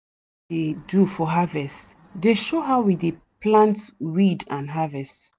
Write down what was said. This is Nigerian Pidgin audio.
dey do for harvest dey show how we dey plant weed and harvest.